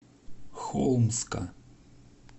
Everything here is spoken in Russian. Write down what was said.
холмска